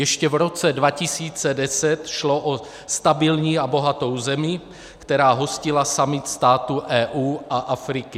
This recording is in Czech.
Ještě v roce 2010 šlo o stabilní a bohatou zemi, která hostila summit států EU a Afriky.